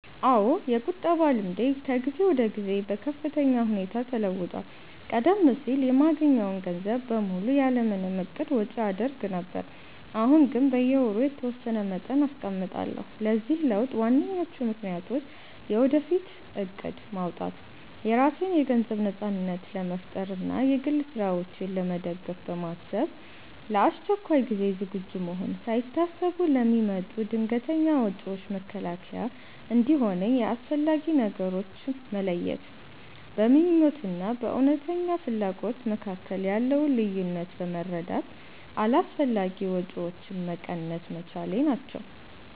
አዎ፣ የቁጠባ ልምዴ ከጊዜ ወደ ጊዜ በከፍተኛ ሁኔታ ተለውጧል። ቀደም ሲል የማገኘውን ገንዘብ በሙሉ ያለ ምንም እቅድ ወጪ አደርግ ነበር፤ አሁን ግን በየወሩ የተወሰነ መጠን አስቀምጣለሁ። ለዚህ ለውጥ ዋነኞቹ ምክንያቶች፦ የወደፊት እቅድ ማውጣት፦ የራሴን የገንዘብ ነጻነት ለመፍጠር እና የግል ስራዎቼን ለመደገፍ በማሰብ፣ ለአስቸኳይ ጊዜ ዝግጁ መሆን፦ ሳይታሰቡ ለሚመጡ ድንገተኛ ወጪዎች መከላከያ እንዲሆነኝ፣ የአስፈላጊ ነገሮች መለየት፦ በምኞት እና በእውነተኛ ፍላጎት መካከል ያለውን ልዩነት በመረዳት አላስፈላጊ ወጪዎችን መቀነስ መቻሌ ናቸው።